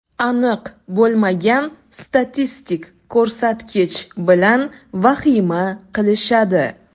Aniq bo‘lmagan statistik ko‘rsatkich bilan vahima qilishadi.